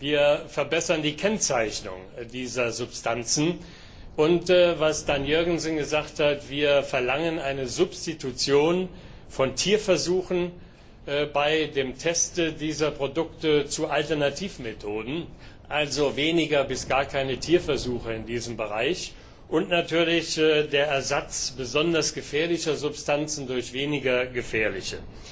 Wir verbessern die Kennzeichnung dieser Substanzen, und was Dan Jørgensen gesagt hat wir verlangen eine Substitution von Tierversuchen beim Test dieser Produkte durch Alternativmethoden, also weniger bis gar keine Tierversuche in diesem Bereich, und natürlich den Ersatz besonders gefährlicher Substanzen durch weniger gefährliche.